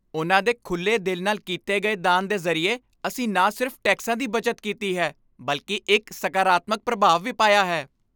ਉਨ੍ਹਾਂ ਦੇ ਖੁੱਲ੍ਹੇ ਦਿਲ ਨਾਲ ਕੀਤੇ ਗਏ ਦਾਨ ਦੇ ਜ਼ਰੀਏ, ਅਸੀਂ ਨਾ ਸਿਰਫ਼ ਟੈਕਸਾਂ ਦੀ ਬੱਚਤ ਕੀਤੀ ਹੈ ਬਲਕਿ ਇੱਕ ਸਕਾਰਾਤਮਕ ਪ੍ਰਭਾਵ ਵੀ ਪਾਇਆ ਹੈ!